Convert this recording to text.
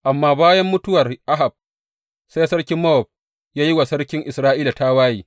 Amma bayan mutuwar Ahab, sai sarkin Mowab ya yi wa sarkin Isra’ila tawaye.